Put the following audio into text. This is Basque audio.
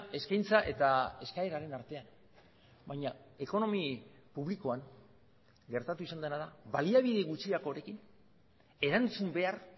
eskaintza eta eskaeraren artean baina ekonomi publikoan gertatu izan dena da baliabide gutxiagorekin erantzun behar